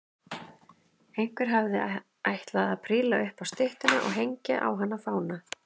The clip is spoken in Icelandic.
Einhver hafði ætlað að príla upp á styttuna og hengja á hana fána.